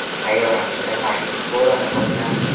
Sayyoramizda magnit bo‘roni boshlandi.